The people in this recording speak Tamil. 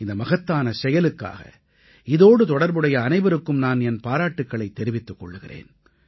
இந்த மகத்தான செயலுக்காக இதோடு தொடர்புடைய அனைவருக்கும் நான் என் பாராட்டுக்களைத் தெரிவித்துக் கொள்கிறேன்